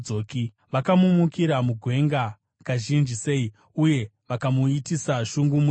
Vakamumukira mugwenga kazhinji sei, uye vakamuitisa shungu murenje!